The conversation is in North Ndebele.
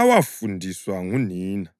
awafundiswa ngunina: